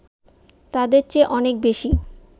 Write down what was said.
তাদের চেয়ে অনেক বেশি